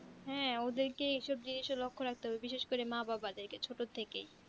হ্যাঁ ওদেরকে এই সব জিনিসের লক্ষ্য রাখতে হবে বিশেষ করে মা বাবা দেড় কেই ছোট থেকেই